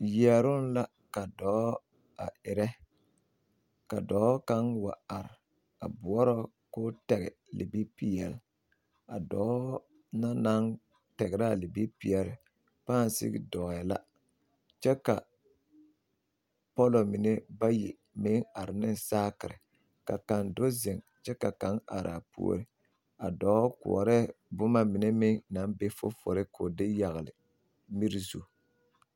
Yɛroŋ la ka dɔɔ a erɛ ka dɔɔ kaŋ wa are a boɔrɔ ka tɛgɛ libipeɛle a dɔɔ na naŋ tɛgrɛ a libipeɛle pãã sigi dɔɔɛ la kyɛ ka pɔllɔ mine bayi meŋ are ne saakiri ka kaŋ do zeŋ kyɛ ka kaŋ are apuoriŋ a dɔɔ koɔrɛɛ boma mine meŋ naŋ be fufulu ka o de yagle miri zu.